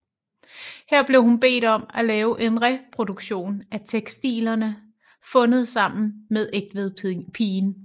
Her blev hun bedt om at lave en reproduktion af tekstilerne fundet sammen med Egtvedpigen